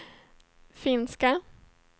finska